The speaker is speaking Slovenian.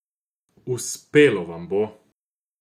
Uspelo vam bo!